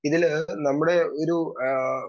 speaker 2 ഇതില് നമ്മുടെ ഒരു ആഹ്